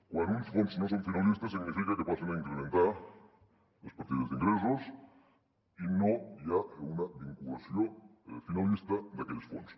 quan uns fons no són finalistes significa que passen a incrementar les partides d’ingressos i no hi ha una vinculació finalista d’aquells fons